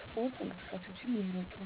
ስፖርታዊ እንቅስቃሴዎችን ይምረጡ።